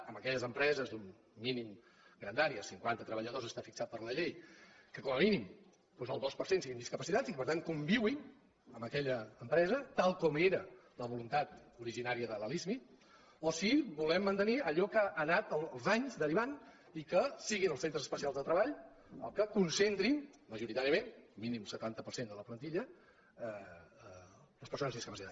en aquelles empreses d’una mínima grandària cinquanta treballadors està fi·xat per la llei que com a mínim el dos per cent siguin discapacitats i que per tant convisquin en aquella em·presa tal com era la voluntat originària de la lismi o si volem mantenir allò en què ha anat amb els anys deri·vant i que siguin els centres especials de treball els que concentrin majoritàriament mínim setanta per cent de la plantilla les persones discapacitades